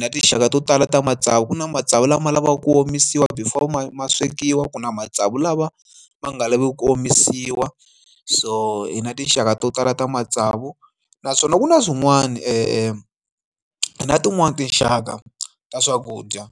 na tinxaka to tala ta matsavu ku na matsavu lama lavaka ku omisiwa before ma ma swekiwa ku na matsavu lawa ma nga lavi ku ku omisiwa so hi na tinxaka to tala ta matsavu naswona ku na swin'wani na swin'wani tinxaka ta swakudya.